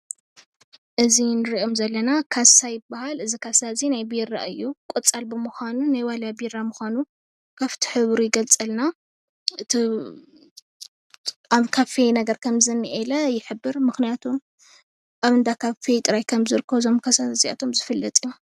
እዚ እንሪኦም ዘለና ካሳ ይባሃል እዚ ካሳ እዚ ናይ ቢራ እዩ ። ቆፃል ብምኳኑ ናይ ዋልያ ቢራ ምኳኑ ካብቲ ሕብሩ ይገልፀልና። ኣብ ካፌ ነገር ከም ዝኒሄ ይሕብር ምክንያቱ ኣብ እንዳ ካፌ ጥራይ ከም ዝርከቡ እዞም ካሳታት እዚኣቶም ዝፍለጥ እዩ፡፡